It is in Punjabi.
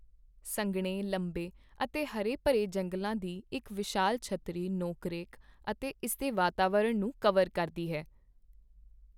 ਸੰਘਣੇ, ਲੰਬੇ ਅਤੇ ਹਰੇ ਭਰੇ ਜੰਗਲਾਂ ਦੀ ਇੱਕ ਵਿਸ਼ਾਲ ਛਤਰੀ ਨੋਕਰੇਕ ਅਤੇ ਇਸ ਦੇ ਵਾਤਾਵਰਣ ਨੂੰ ਕਵਰ ਕਰਦੀ ਹੈ।